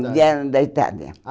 vieram da Itália. Ah